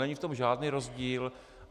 Není v tom žádný rozdíl.